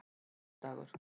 sunnudagar